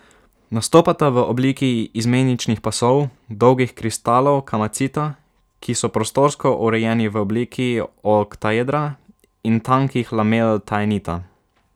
Nastopata v obliki izmeničnih pasov dolgih kristalov kamacita, ki so prostorsko urejeni v obliki oktaedra, in tankih lamel taenita.